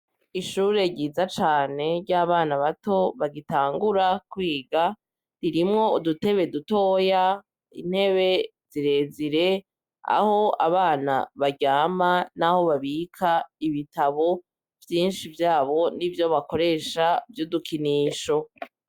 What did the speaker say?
Ishure ryiza cane ry'abana bato bagitangura kwiga, ririmwo udutebe dutoya, intebe zirezire, aho abana baryama, naho babika ibitabo vyinshi vyabo, n'ivyo bakoresha vy'udukinisho.